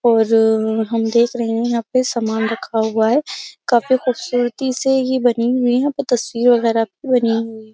और हम देख रहे हैं यहाँ पे सामान रखा हुआ है। काफी खुबसूरती से ये बनी हुई है। प तस्वीर वगैरा भी बनी हुई।